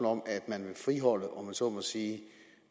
om at man vil friholde om jeg så må sige